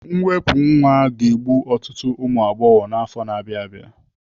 Mwepụ nwa ga-egbu ọtụtụ ụmụ agbọghọ n'afọ na-abịa abịa.